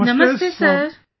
Namaste Sir